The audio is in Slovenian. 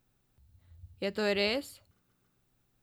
Je to res?